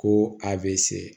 Ko a bɛ se